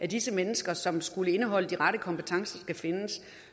disse mennesker som skulle have de rette kompetencer skal findes i